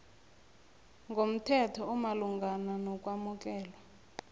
ngomthetho omalungana nokwamukelwa